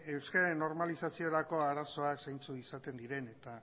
euskararen normalizaziorako arazoak zeintzuk izaten diren eta